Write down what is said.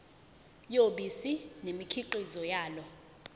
yobisi nemikhiqizo yalo